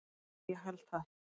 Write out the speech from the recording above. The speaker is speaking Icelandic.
Eða ég held það.